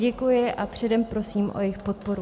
Děkuji a předem prosím o jejich podporu.